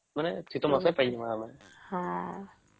ମାନେ ଶୀତ ମାସରେ ପାଇଯିବ ଆମେ